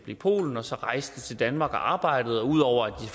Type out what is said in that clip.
i polen og så rejste til danmark og arbejdede og ud over at